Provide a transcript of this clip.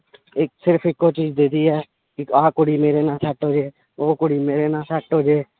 ਇੱਕ ਸਿਰਫ਼ ਇੱਕੋ ਚੀਜ਼ ਵੀ ਆਹ ਕੁੜੀ ਮੇਰੇ ਨਾਲ set ਹੋ ਜਾਏ ਉਹ ਕੁੜੀ ਮੇਰੇ ਨਾਲ set ਹੋ ਜਾਏ।